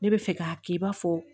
Ne bɛ fɛ k'a kɛ i b'a fɔ